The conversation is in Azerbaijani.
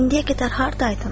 İndiyə qədər hardaydın?